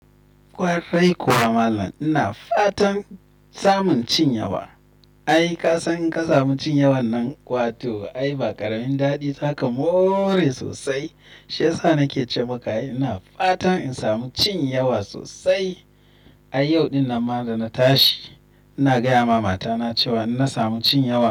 Kwarai kuwa Malam, ina fatan samun cin yawa. Ai ka san in ka samu cin yawan nan, wato ai ba ƙaramin daɗi zaka more sosai. Shiyasa nake ce maka ina fatan in samu cin yawa sosai. Ai yau ɗin nan ma da na tashi, ina gaya ma matana cewa in na samu cin yawa.